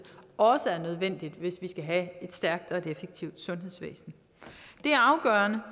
også er nødvendig hvis vi skal have et stærkt og effektivt sundhedsvæsen det er afgørende